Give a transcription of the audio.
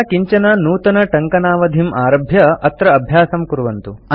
अधुना किञ्चन नूतनटङ्कनावधिम् आरभ्य तत्र अभ्यासं कुर्वन्तु